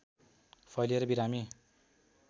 फैलिएर बिरामी